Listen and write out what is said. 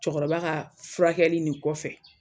Cɛkɔrɔba ka furakɛli nin kɔfɛ